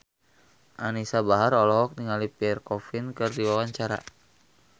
Anisa Bahar olohok ningali Pierre Coffin keur diwawancara